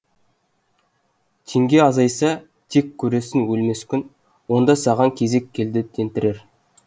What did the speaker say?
теңге азайса тек көрерсің өлмес күн онда саған кезек келді тентірер